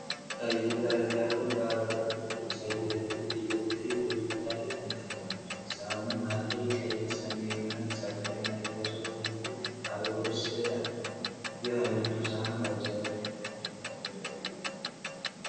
ቀይ ጠርዝ ያለው፣ በአበባ ቅርጾች ያጌጠ ክብ የጌጥ ትሪ በግድግዳ ላይ ተንጠልጥሏል። ሳህኑ መሃል ላይ ቀይ፣ ሰማያዊና ቢጫ ቀለም ያላቸው ትልልቅ አበቦች ሥዕል አለው። ይህ ዓይነቱ ሳህን በአብዛኛው ለምን ዓላማ ያገለግላል?